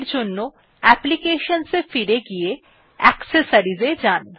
এর জন্য অ্যাপ্লিকেশনস এ ফিরে গিয়ে অ্যাক্সেসরিজ এ যান